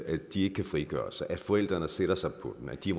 at de ikke kan frigøre sig at forældrene sætter sig på dem at de